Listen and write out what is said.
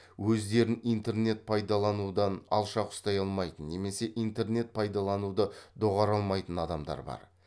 өздерін интернет пайдаланудан алшақ ұстай алмайтын немесе интернет пайдалануды доғара алмайтын адамдар бар